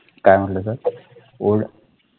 काय म्हटल sirold